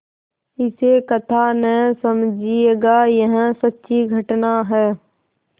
इसे कथा न समझिएगा यह सच्ची घटना है